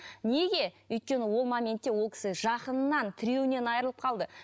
неге өйткені ол моментте ол кісі жақынынан тіреуінен айрылып қалды